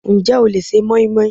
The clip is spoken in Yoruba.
Ǹjẹ́ o le se moinmoin?